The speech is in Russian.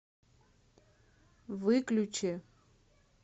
выключи